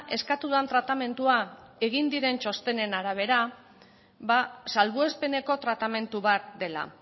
eskatu den tratamendua egin diren txostenen arabera ba salbuespeneko tratamendu bat dela